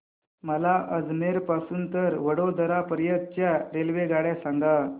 मला अजमेर पासून तर वडोदरा पर्यंत च्या रेल्वेगाड्या सांगा